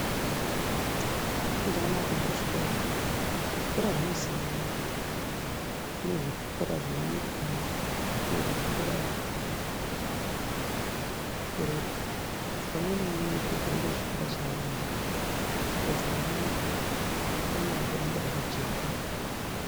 Zvakanaka kuenda kuchikoro , zvikora zvinosiyana kune zvikora zvenyika kune zvikora zvemakereke saka umwe naumwe unokurudzirwa kuenda kuchikora chaanoda kuti mwana wake ramangwana rake ringe rakajeka .